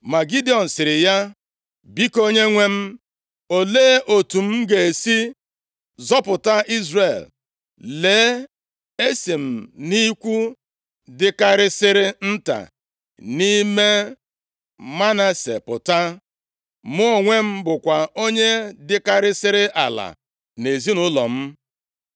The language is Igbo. Ma Gidiọn sịrị ya, “Biko, Onyenwe m, olee otu m ga-esi zọpụta Izrel? Lee, esi m nʼikwu dịkarịsịrị nta nʼime Manase pụta. Mụ onwe m bụkwa onye dịkarịsịrị ala nʼezinaụlọ m.”